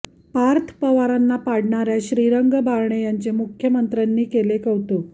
पार्थ पवारांना पाडणाऱ्या श्रीरंग बारणे यांचे मुख्यमंत्र्यांनी केले कौतुक